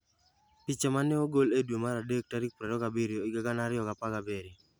Picha ma ne ogol e dwe mar adek 27, 2017.